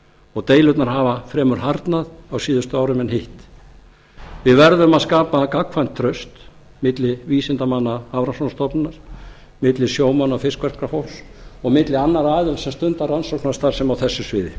og deilurnar hafa fremur harðnað á síðustu árum en hitt við verðum að skapa gagnkvæmt traust milli vísindamanna hafrannsóknastofnunar milli sjómanna og fiskverkafólks og milli annarra aðila sem stunda rannsóknarstarfsemi á þessu sviði